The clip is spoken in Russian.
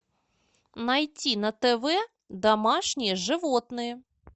найти на тв домашние животные